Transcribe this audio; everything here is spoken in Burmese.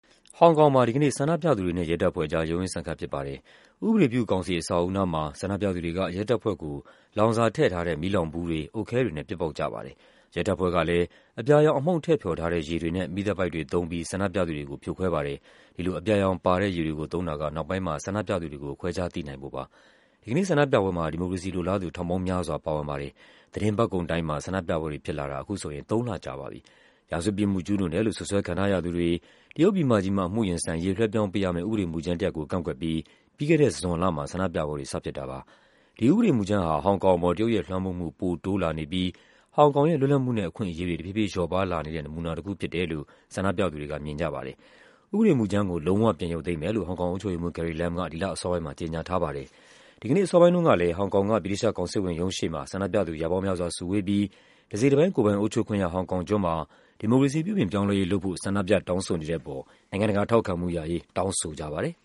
ဟောင်ကောင်မှာ ဒီကနေ့ ဆန္ဒပြသူတွေနဲ့ ရဲတပ်ဖွဲ့အကြား ရုန်းရင်းဆန်ခတ် ဖြစ်ပါတယ်။ ဥပဒေပြုကောင်စီ အဆောက်အဦနားမှာ ဆန္ဒပြသူတွေက ရဲတပ်ဖွဲ့ကို လောင်စာထည့် မီးလောင်ဘူးတွေ၊ အုတ်ခဲတွေနဲ့ ပစ်ပေါက်ကြပါတယ်။ ရဲတပ်ဖွဲ့ကလည်း အပြာရောင်အမှုန့် ထည့်ဖျော်ထားတဲ့ ရေတွေနဲ့ မီးသတ်ပိုက်တွေသုံးပြီး ဆန္ဒပြသူတွေကို ဖြိုခွဲပါတယ်။ ဒီလို အပြာရောင်ပါတဲ့ ရေတွေကိုသုံးတာက နောက်ပိုင်းမှာ ဆန္ဒပြသူတွေကို ခွဲခြားသိနိုင်ဖို့ပါ။ ဒီကနေ့ ဆန္ဒပြပွဲမှာ ဒီမိုကရေစီလိုလားသူ ထောင်ပေါင်းများစွာ ပါဝင်ပါတယ်။ သီတင်းပတ်ကုန်တိုင်းမှာ ဆန္ဒပြပွဲတွေဖြစ်လာတာ အခုဆိုရင် သုံးလကြာပါပြီ။ ရာဇဝတ်ပြစ်မှု ကျူးလွန်တယ်လို့ စွပ်စွဲခံထားရသူတွေ တရုတ်ပြည်မကြီးမှာ အမှုရင်ဆိုင်ရေး လွှဲပြောင်းပေးရမယ့် ဥပဒေမူကြမ်းတရပ်ကို ကန့်ကွက်ပြီး ပြီးခဲ့တဲ့ဇွန်လမှာ ဆန္ဒပြပွဲတွေ စဖြစ်တာပါ။ ဒီဥပဒေမူကြမ်းဟာ ဟောင်ကောင်အပေါ် တရုတ်ရဲ့လွှမ်းမိုးမှု ပိုတိုးလာနေပြီး ဟောင်ကောင်ရဲ့ လွတ်လပ်မှုနဲ့ အခွင့်အရေးတွေ တဖြည်းဖြည်း လျော့ပါးလာနေတဲ့ နမူနာတခုဖြစ်တယ်လို့ ဆန္ဒပြသူတွေက မြင်ကြပါတယ်။ ဥပဒေမူကြမ်းကို လုံးဝပြန်ရုပ်သိမ်းမယ်လို့ ဟောင်ကောင်အုပ်ချုပ်ရေးမှူး Carrie Lam က ဒီလ အစောပိုင်းမှာ ကြေညာထားပါတယ်။ ဒီကနေ့ အစောပိုင်းတုန်းကလည်း ဟောင်ကောင်က ဗြိတိသျှကောင်စစ်ဝန်ရုံးရှေ့မှာ ဆန္ဒပြသူ ရာပေါင်းများစွာစုဝေးပြီး တစိတ်တပိုင်း ကိုယ်ပိုင်အုပ်ချုပ်ခွင့်ရ ဟောင်ကောင်ကျွန်းမှာ ဒီမိုကရေစီ ပြုပြင်ပြောင်းလဲရေးလုပ်ဖို့ ဆန္ဒပြတောင်းဆိုနေတဲ့အပေါ် နိုင်ငံတကာ ထောက်ခံမှုရရေး တောင်းဆိုကြပါတယ်